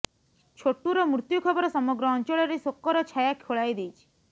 ଛୋଟୁର ମୃତ୍ୟୁ ଖବର ସମଗ୍ର ଅଞ୍ଚଳରେ ଶୋକର ଛାୟା ଖୋଳାଇ ଦେଇଛି